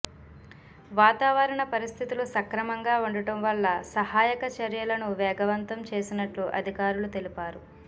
వాతావరణ పరిస్థితులు సక్రమంగా ఉండటం వల్ల సహాయక చర్యలను వేగవంతం చేసినట్లు అధికారులు తెలిపారు